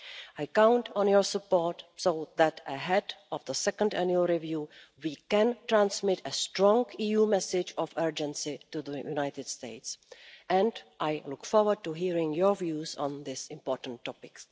I count on your support so that ahead of the second annual review we can transmit a strong EU message of urgency to the United States, and I look forward to hearing your views on this important topic.